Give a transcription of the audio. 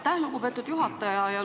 Aitäh, lugupeetud juhataja!